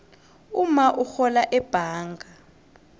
umma urhola ebhanga